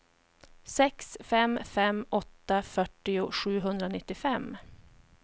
sex fem fem åtta fyrtio sjuhundranittiofem